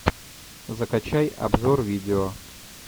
закачай обзор видео